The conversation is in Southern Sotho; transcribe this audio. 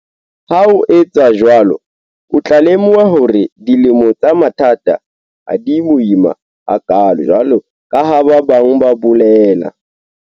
Ha o etsa jwalo o tla lemoha hore dilemo tsa mathata ha di boima hakaalo jwalo ka ha ba bang ba bolela.